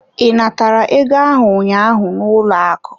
I natara ego ahụ ụnyaahụ n'ụlọ akụ?